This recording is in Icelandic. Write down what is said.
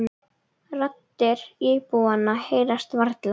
Raddir íbúanna heyrast varla.